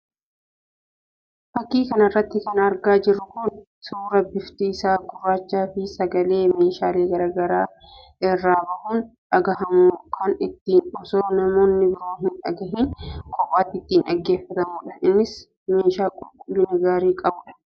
Fakkii kanarratti kan argaa jirru kun suuraa bifti isaa gurraachaa fi sagalee meeshaalee garaagaraa irraa bahuun dhagahamu kan ittiin osoo namoonni biroon hin dhagahiin kophaatti ittiin dhaggeeffannudha. Innis meeshaa qulqullina gaarii qabudha.